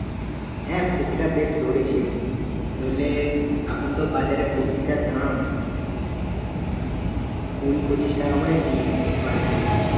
হ্যাঁ কপিটা বেশ ধরেছে ধরলে এখন তো বাজারে কপির যা দাম কুড়ি-পঁচিশ টাকা করে piece per piece